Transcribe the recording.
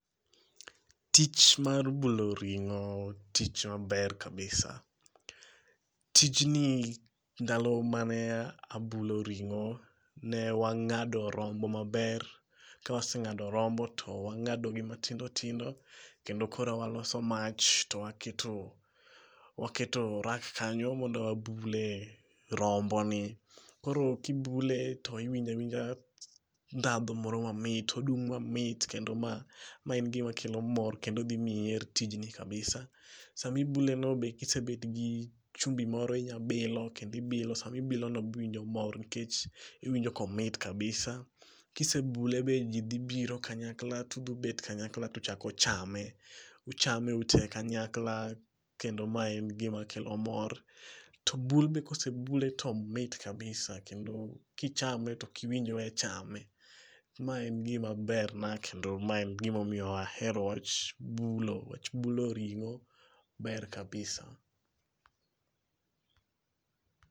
Tich mar bulo ringo tich maber kabisa, tijni ndalo mane abulo ring'o ne wang'ado rombo maber, kawaseng'ado rombo to wang'adogi matindo tindo kendo koro waloso mach to waketo, waketo rack kanyo mondo wabule romboni, koro kibule to iwinjo awinja dhadho moro mamit odum mamit kendo mae engima kelo mor kendo thi miyi iher tijni kabisa, sama ibuleno be kisebed gi chumbi moro inyabilo, sama ibilono iwinjo mor nikech iwinjo ka omot kabisa, kisebule be ji dhibiro kanyakla tuthibet kanyakla to uchako chame, uchame ute kanyakla kendo mae en gimakelo mor, to bul be kosebule to omit kabisa, kendo kichame to okiwinj we chame. Mae en gima berna kendo mae e gimomiyo ahero wach bulo wach bulo ring'o ber kabisa